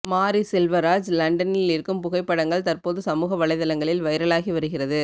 மாரி செல்வராஜ் லண்டனில் இருக்கும் புகைப்படங்கள் தற்போது சமூக வலைத்தளங்களில் வைரலாகி வருகிறது